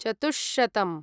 चतुष्शतम्